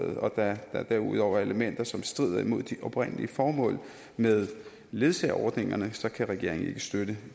og da der derudover er elementer som strider imod de oprindelige formål med ledsageordningerne så kan regeringen ikke støtte